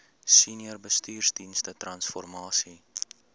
senior bestuursdienste transformasie